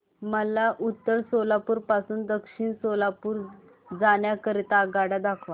मला उत्तर सोलापूर पासून दक्षिण सोलापूर जाण्या करीता आगगाड्या दाखवा